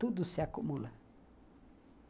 Tudo se acumula.